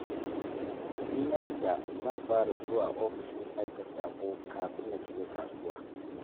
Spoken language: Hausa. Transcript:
In na fita zan fara zuwa ofishin aika saƙo kafin na shiga kasuwa.